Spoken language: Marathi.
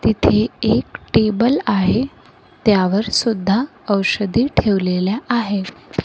तिथे एक टेबल आहे. त्यावर सुद्धा औषधे ठेवलेल्या आहेत.